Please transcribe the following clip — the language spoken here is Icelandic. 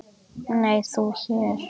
Nei, þú hér?